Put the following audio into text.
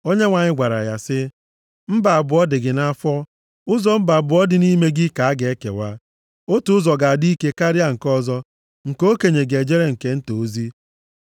Onyenwe anyị gwara ya sị, “Mba abụọ dị gị nʼafọ, ụzọ mba abụọ dị nʼime gị ka a ga-ekewa. Otu ụzọ ga-adị ike karịa nke ọzọ, nke okenye ga-ejere nke nta ozi.”